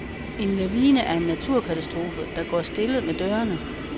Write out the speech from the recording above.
En lavine er en naturkatastrofe, der går stille med dørene.